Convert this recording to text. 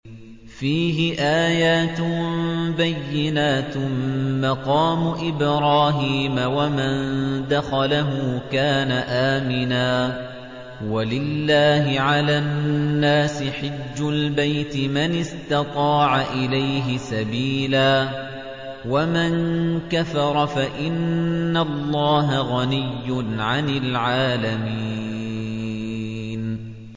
فِيهِ آيَاتٌ بَيِّنَاتٌ مَّقَامُ إِبْرَاهِيمَ ۖ وَمَن دَخَلَهُ كَانَ آمِنًا ۗ وَلِلَّهِ عَلَى النَّاسِ حِجُّ الْبَيْتِ مَنِ اسْتَطَاعَ إِلَيْهِ سَبِيلًا ۚ وَمَن كَفَرَ فَإِنَّ اللَّهَ غَنِيٌّ عَنِ الْعَالَمِينَ